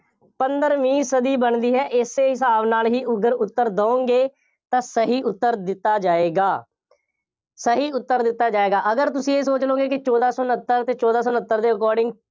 ਪੰਦਰਵੀਂ ਸਦੀ ਬਣਦੀ ਹੈ ਇਸੇ ਹਿਸਾਬ ਨਾਲ ਹੀ ਅਗਰ ਉੱਤਰ ਦਿਓਗੇ ਤਾਂ ਸਹੀ ਉੱਤਰ ਦਿੱਤਾ ਜਾਏਗਾ। ਸਹੀ ਉੱਤਰ ਦਿੱਤਾ ਜਾਏਗਾ। ਅਗਰ ਤੁਸੀਂ ਇਹ ਸੋਚ ਲਉਗੇ ਕਿ ਚੋਦਾਂ ਸੌ ਉਨੱਤਰ ਅਤੇ ਚੌਦਾਂ ਸੌ ਉਨੱਤਰ ਦੇ according